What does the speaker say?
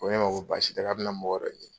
ko ye ma ko baasi tɛ k'a bɛ na mɔgɔ wɛrɛ ɲini.